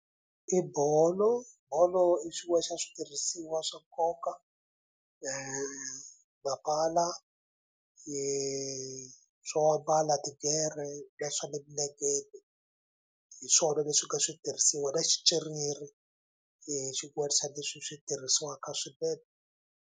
I bolo, bolo i xin'wani xa swirhisiwa swa nkoka swo ambala tigere va swa le minengeni hi swona leswi nga switirhisiwa na xicerere xin'wani xa leswi swi tirhisiwaka .